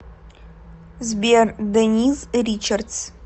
сбер дениз ричардс